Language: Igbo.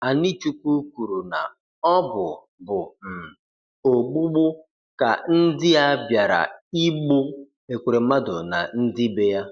Anichukwu kwuru na ọ bụ bụ um ogbụgbụ ka ndị a bịara igbụ Ekweremadu na ndị be ya.